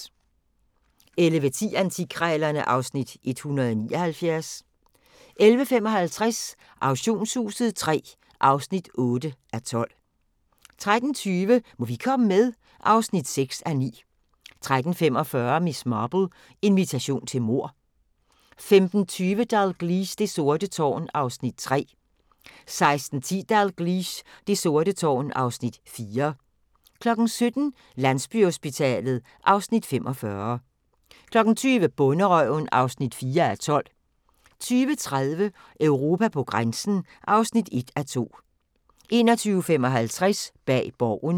11:10: Antikkrejlerne (Afs. 179) 11:55: Auktionshuset III (8:12) 13:20: Må vi komme med? (6:9) 13:45: Miss Marple: Invitation til mord 15:20: Dalgliesh: Det sorte tårn (Afs. 3) 16:10: Dalgliesh: Det sorte tårn (Afs. 4) 17:00: Landsbyhospitalet (Afs. 45) 20:00: Bonderøven (4:12) 20:30: Europa på grænsen (1:2) 21:55: Bag Borgen